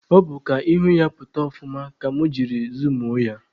Ọ bụ ka ihu ya pụta ọfụma ka mụ jiri zumuo ya